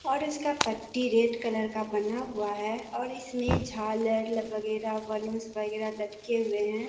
और इसका पट्टी रेड कलर का बना हुआ है और इसमें झालर ल वगैरा बलूंस वगैरा लटके हुए हैं।